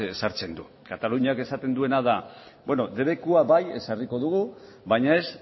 sartzen du kataluniak esaten duena da beno debekua bai ezarriko dugu baina ez